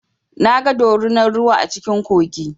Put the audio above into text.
Na ga dorunar ruwa a cikin kogi.